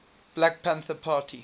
black panther party